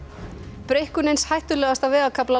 breikkun eins hættulegasta vegarkafla